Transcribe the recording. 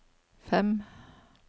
fem